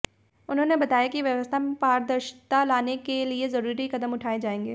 उन्होंने बताया कि व्यवस्था में पारदर्शिता लाने के लिए जरूरी कदम उठाए जाएंगे